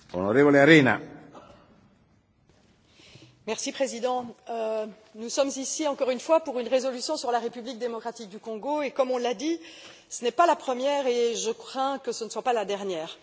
Monsieur le Président, nous sommes ici, encore une fois, pour une résolution sur la République démocratique du Congo et, comme on l'a dit, ce n'est pas la première et je crains que ce ne soit pas la dernière.